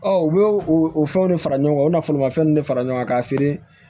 u b'o o fɛnw de fara ɲɔgɔn kan o bɛna foromafɛn ninnu de fara ɲɔgɔn kan k'a feere